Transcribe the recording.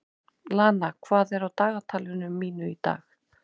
Lana, hvað er á dagatalinu mínu í dag?